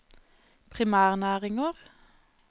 primærnæringer